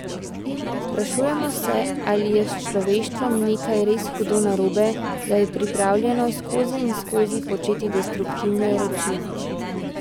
Sprašujemo se, ali je s človeštvom nekaj res hudo narobe, da je pripravljeno skozi in skozi početi destruktivne reči.